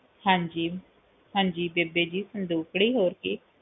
ਹਾਂਜੀ ਹਾਂਜੀ ਬੇਬੇ ਜੀ ਸੰਦੂਕੜੀ ਹੋਰ ਕਿ